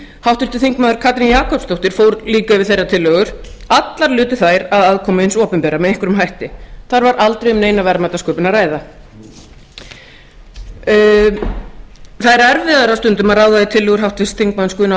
háttvirtur þingmaður katrín jakobsdóttir fór líka yfir þeirra tillögur allar lutu þær að aðkomu hins opinbera með einhverjum hætti þar var aldrei um neina verðmætasköpun að ræða það er erfiðara stundum að ráða í tillögur háttvirts þingmanns guðna